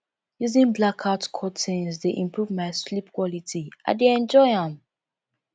using blackout curtains dey improve my sleep quality i dey enjoy am